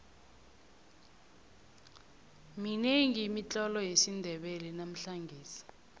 minengi imitlolo yesindebele namhlangesi